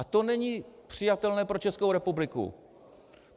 A to není přijatelné pro Českou republiku.